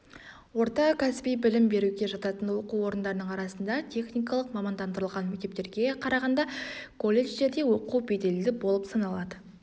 орта кәсіби білім беруге жататын оқу орындарының арасында техникалық-мамандандырылған мектептерге қарағанда колледждерде оқу беделді болып лады